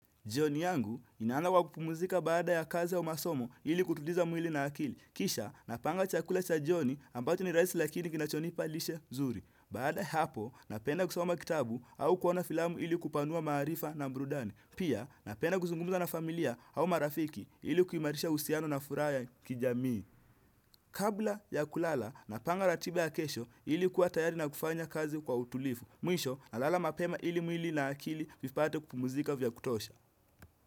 Jioni yangu, ninaanza kwa kupumzika baada ya kazi au masomo ili kutuliza mwili na akili. Kisha, napanga chakula cha jioni ambacho ni rahisi lakini kinachonipa lishe zuri. Baada ya hapo, napenda kusoma kitabu au kuona filamu ili kupanua maarifa na burudani. Pia, napenda kuzungumza na familia au marafiki ili kuimarisha uhusiano na furaha ya kijamii. Kabla ya kulala, napanga ratiba ya kesho ili kuwa tayari na kufanya kazi kwa utulivu. Mwisho, nalala mapema ili mwili na akili vipate kupumzika vya kutosha.